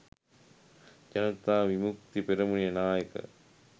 ජනතා විමුක්ති පෙරමුණේ නායක